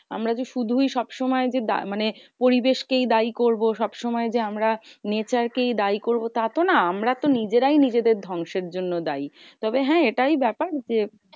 আমরা কি শুধুই সব সময় যে মানে পরিবেশ কেই দায়ী করবো। সব সময় যে, আমরা nature কেই দায়ী করবো তা তো না? আমরা তো নিজেরাই নিজেদের ধ্বংস এর জন্য দায়ী। তবে হ্যাঁ এটাই ব্যাপার যে,